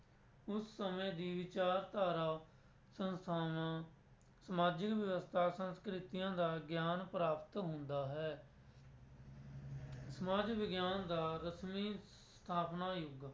ਉਸ ਸਮੇਂ ਦੀ ਵਿਚਾਰਧਾਰਾ ਸੰਸਥਾਵਾਂ, ਸਮਾਜਿਕ ਵਿਵਸਥਾ, ਸੰਸਕ੍ਰਿਤੀਆਂ ਦਾ ਗਿਆਨ ਪ੍ਰਾਪਤ ਹੁੰਦਾ ਹੈ ਸਮਾਜ ਵਿਗਿਆਨ ਦਾ ਰਸਮੀ ਸਥਾਪਨਾ ਯੁੱਗ,